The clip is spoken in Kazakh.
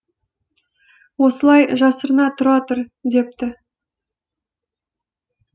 осылай жасырына тұра тұр депті